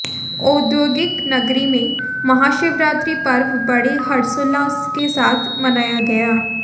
औद्योगिक नगरी में महाशिवरात्रि पर्व बड़े हर्षोल्लास के साथ मनाया गया